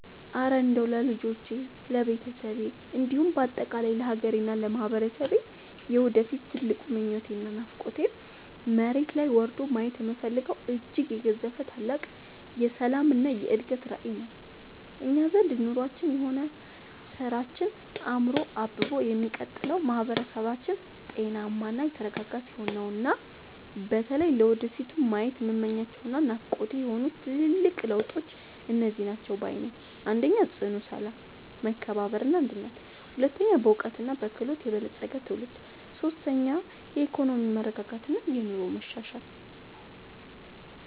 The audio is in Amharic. እረ እንደው ለልጆቼ፣ ለቤተሰቤ እንዲሁም በአጠቃላይ ለሀገሬና ለማህበረሰቤ የወደፊት ትልቁ ምኞቴና ናፍቆቴማ፣ መሬት ላይ ወርዶ ማየት የምፈልገው እጅግ የገዘፈ ታላቅ የሰላምና የእድገት ራዕይ ነው! እኛ ዘንድ ኑሯችንም ሆነ ስራችን አምሮና አብቦ የሚቀጥለው ማህበረሰባችን ጤናማና የተረጋጋ ሲሆን ነውና። በተለይ ለወደፊቱ ማየት የምመኛቸውና ናፍቆቴ የሆኑት ትልልቅ ለውጦች እነዚህ ናቸው ባይ ነኝ፦ 1. ጽኑ ሰላም፣ መከባበርና አንድነት 2. በዕውቀትና በክህሎት የበለፀገ ትውልድ 3. የኢኮኖሚ መረጋጋትና የኑሮ መሻሻል